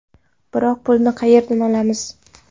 Biroq pulni qayerdan olamiz?